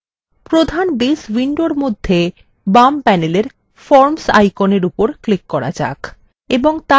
প্রধান base window মধ্যে base panel forms আইকনের উপর click করা যাক